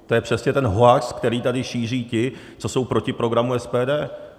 To je přesně ten hoax, který tady šíří ti, co jsou proti programu SPD.